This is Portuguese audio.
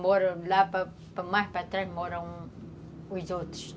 Moram lá, mais para trás, moram os outros.